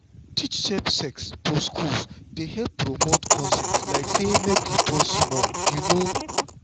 to teach safe sex for school dey help promote consent like say make we pause small you sabi.